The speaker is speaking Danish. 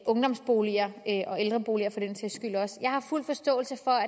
ungdomsboliger og ældreboliger og jeg har fuld forståelse for